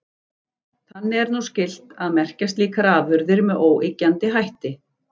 Þannig er nú skylt að merkja slíkar afurðir með óyggjandi hætti.